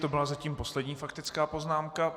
To byla zatím poslední faktická poznámka.